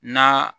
Na